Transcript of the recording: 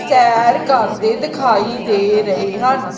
ਸੈਰ ਕਰਦੇ ਦਿਖਾਈ ਦੇ ਰਹੇ ਹਨ।